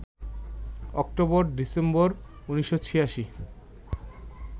October-December ১৯৮৬